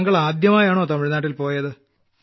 താങ്കൾ ആദ്യാമായാണോ തമിഴ്നാട്ടിൽ പോയത്